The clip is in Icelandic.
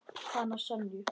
Hana Sonju?